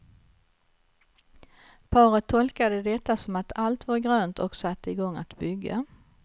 Paret tolkade detta som att allt var grönt och satte i gång att bygga.